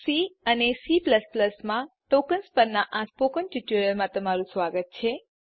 C અને C માં tokens પરનાં સ્પોકન ટ્યુટોરીયલમાં સ્વાગત છે